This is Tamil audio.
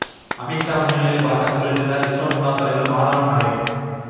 அமித்ஷா முன்னிலையில் பாஜகவில் இணைந்தார் இஸ்ரோ முன்னாள் தலைவர் மாதவன் நாயர்